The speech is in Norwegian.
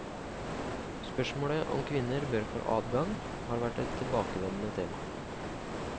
Spørsmålet om kvinner bør få adgang, har vært et tilbakevendende tema.